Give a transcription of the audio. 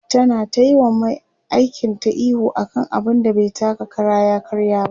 ta na tayi wa Mai aikin ta ihu akan abun da bai taka Kara ya karya ba